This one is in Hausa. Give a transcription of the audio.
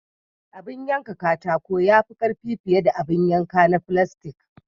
Abin yanka na katako ya fi karfi fiye da abin yanka na filastik.